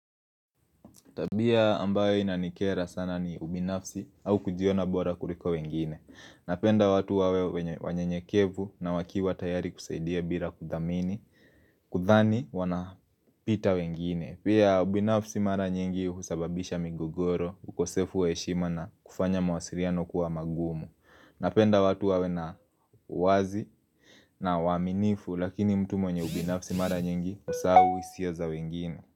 Tabia ambayo inanikera sana ni ubinafsi au kujiona bora kuliko wengine. Napenda watu wawe wanyenyekevu na wakiwa tayari kusaidia bila kudhamini Kudhani wanapita wengine. Pia ubinafsi mara nyingi husababisha migogoro, ukosefu wa heshima na kufanya mwasiliano kuwa magumu Napenda watu wawe na uwazi na uaminifu lakini mtu mwenye ubinafsi mara nyingi husahau hisia za wengine.